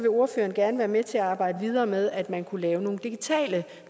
ordføreren gerne være med til at arbejde videre med at man kunne lave nogle digitale